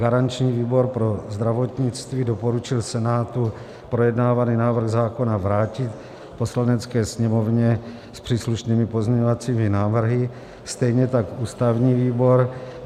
Garanční výbor pro zdravotnictví doporučil Senátu projednávaný návrh zákona vrátit Poslanecké sněmovně s příslušnými pozměňovacími návrhy, stejně tak ústavní výbor.